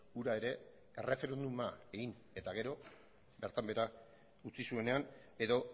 hura ere erreferenduma egin eta gero bertan behera utzi zuenean edo